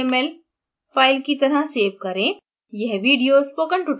image को cml file की तरह सेव करें